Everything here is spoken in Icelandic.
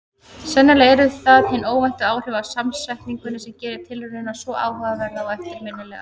Sennilega eru það hin óvæntu áhrif af samsetningunni sem gerir tilraunina svo áhugaverða og eftirminnilega.